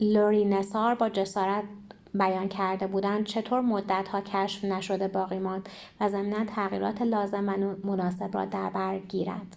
لری نصار با جسارت بیان کرده بودند چطور مدت‌ها کشف‌نشده باقی ماند و ضمناً تغییرات لازم و مناسب را دربر گیرد